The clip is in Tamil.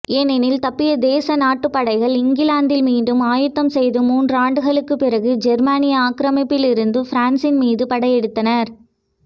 ஏனெனில் தப்பிய நேச நாட்டுப்படைகள் இங்கிலாந்தில் மீண்டும் ஆயத்தம் செய்து மூன்றாண்டுகளுக்குப் பிறகு ஜெர்மானிய ஆக்கிரமிப்பிலிருந்த பிரான்சின் மீது படையெடுத்தனர்